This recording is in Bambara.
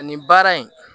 Ani baara in